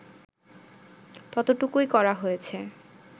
ততটুকুই করা হয়েছে